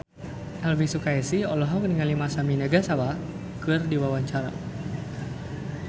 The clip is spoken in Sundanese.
Elvi Sukaesih olohok ningali Masami Nagasawa keur diwawancara